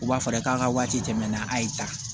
U b'a fɔ e k'a ka waati tɛmɛna a y'i ta